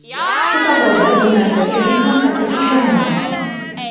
Shu qatorda bu narsaga men ham qattiq ishonaman.